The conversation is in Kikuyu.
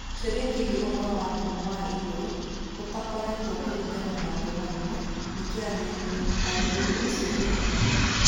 Kĩũria kĩgiĩ ũhoro wa ngumo ya igũrũ ũtarutĩtwo kũringana na ngomanio nĩ kĩarĩrĩirio, tondũ ũndũ ũcio ndũrĩ ho.